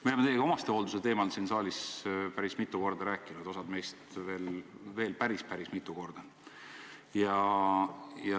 Me oleme teiega omastehoolduse teemal siin saalis päris mitu korda rääkinud, osa meist veel päris-päris mitu korda.